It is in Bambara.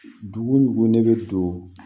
Dugu o dugu ne bɛ don